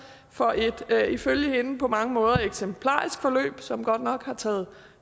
for et ifølge hende på mange måder eksemplarisk forløb som godt nok har taget